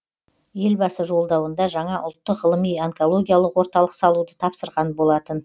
елбасы жолдауында жаңа ұлттық ғылыми онкологиялық орталық салуды тапсырған болатын